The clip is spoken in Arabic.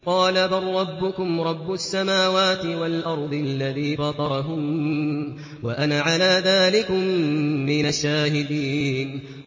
قَالَ بَل رَّبُّكُمْ رَبُّ السَّمَاوَاتِ وَالْأَرْضِ الَّذِي فَطَرَهُنَّ وَأَنَا عَلَىٰ ذَٰلِكُم مِّنَ الشَّاهِدِينَ